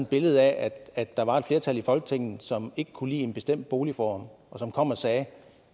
billede af at der var et flertal i folketinget som ikke kunne lide en bestemt boligform og som kom og sagde at